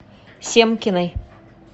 семкиной